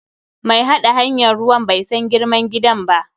Mai haɗa hanyan ruwan bai san girman gidan ba.